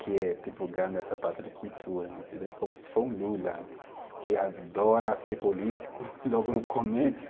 Que é divulgando essa parte de cultura, entendeu, como se for um Lula, que adora ser político logo no começo.